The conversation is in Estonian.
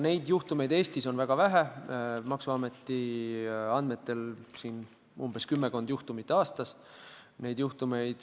Neid juhtumeid on Eestis väga vähe, maksuameti andmetel aastas kümmekond.